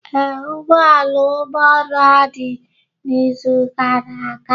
Ee, ụgbọala ụlọ Ọrụ adịghị n'izu gara aga.